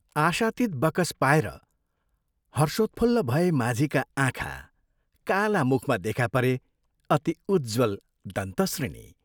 आशातीत बकस पाएर हर्षोत्फुल्ल भए माझीका आँखा काला मुखमा देखा परे अति उज्ज्वल दन्तश्रेणी।